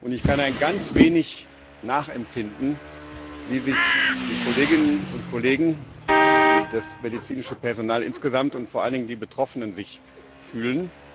Ich kann ein wenig nachempfinden, wie die Kolleginnen und Kollegen, das medizinische Personal insgesamt und vor allen Dingen die Betroffenen sich fühlen.